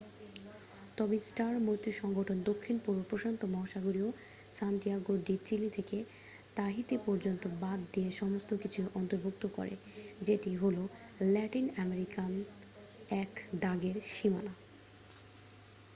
তবে স্টার মৈত্রীসংগঠন দক্ষিণ-পূর্ব প্রশান্ত মহাসাগরীয় সান্তিয়াগো ডি চিলি থেকে তাহিতি পর্যন্ত বাদ দিয়ে সমস্ত কিছুই অন্তর্ভুক্ত করে যেটি হল ল্যাটিন-আমেরিকান একদাগের সীমানা